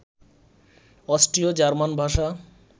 অস্ট্রীয় German ভাষা